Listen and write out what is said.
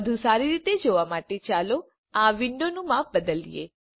વધુ સારી રીતે જોવા માટે ચાલો આ વિન્ડોનું માપ બદલિયે